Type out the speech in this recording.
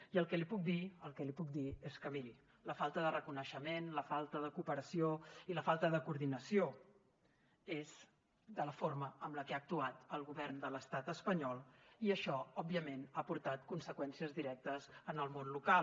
i el que li puc dir és que miri la falta de reconeixement la falta de cooperació i la falta de coordinació és de la forma amb la que ha actuat el govern de l’estat espanyol i això òbviament ha portat conseqüències directes en el món local